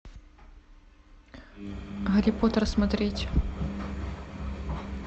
гарри поттер смотреть